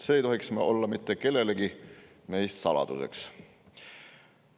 See ei tohiks olla mitte kellelegi meist saladuseks.